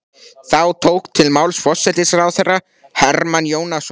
Þá tók til máls forsætisráðherra Hermann Jónasson.